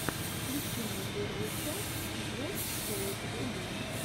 включи мне первую часть джефф шоу фо ю